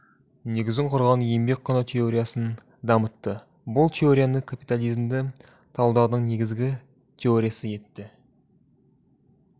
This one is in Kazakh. негізін құрған еңбек құны теориясын дамытты бұл теорияны капитализмді талдаудың негізгі теориясы етті